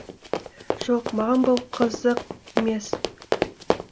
жоқ маған бұл қызық емес